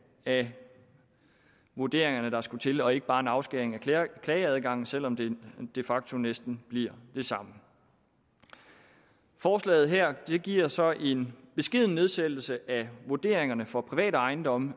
af vurderingerne der skulle til og ikke bare en afskæring af klageadgangen selv om det de facto næsten bliver det samme forslaget her giver så en beskeden nedsættelse af vurderingerne for private ejendomme